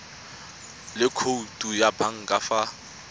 le khoutu ya banka fa